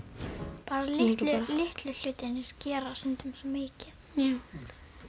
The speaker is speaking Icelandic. bara litlu hlutirnir gera stundum svo mikið